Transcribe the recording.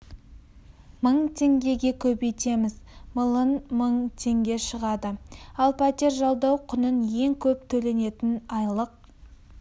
мың теңгеге көбейтеміз млн мың теңге шығады ал пәтер жалдау құнын ең көп төленетін айлық